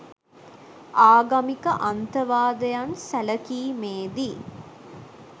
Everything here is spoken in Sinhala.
ආගමික අන්තවාදයන් සැලකීමේ දී